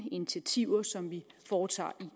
initiativer som vi foretager